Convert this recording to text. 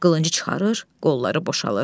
Qılıncı çıxarır, qolları boşalır.